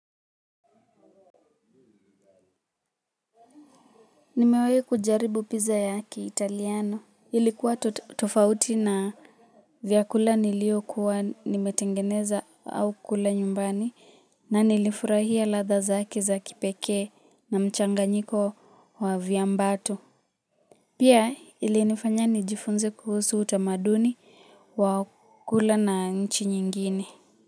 Nimewehi kujaribu pizza ya kiitaliano. Ilikuwa tofauti na vyakula nilio kuwa nimetengeneza au kula nyumbani na nilifurahia ladha zake za kipeke na mchanganyiko wa vyambatu. Pia ilinifanya nijifunze kuhusu utamaduni wa kula na nchi nyingine. Muziki.